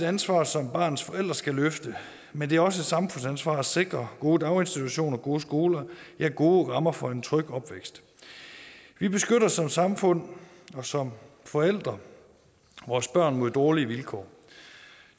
ansvar som barnets forældre skal løfte men det er også et samfundsansvar at sikre gode daginstitutioner gode skoler ja gode rammer for en tryg opvækst vi beskytter som samfund og som forældre vores børn mod dårlige vilkår og